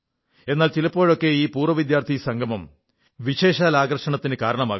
എന്നാൽ ചിലപ്പോഴൊക്കെ ഈ പൂർവ്വവിദ്യാർഥി സംഗമം വിശേഷാൽ ആകർഷണത്തിന് കാരണമാകുന്നു